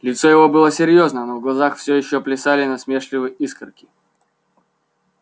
лицо его было серьёзно но в глазах всё ещё плясали насмешливые искорки